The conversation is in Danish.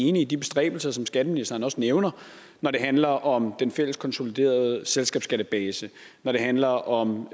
enige i de bestræbelser som skatteministeren også nævner når det handler om den fælles konsoliderede selskabsskattebase når det handler om